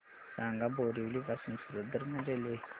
सांगा बोरिवली पासून सूरत दरम्यान रेल्वे